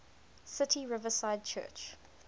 city riverside church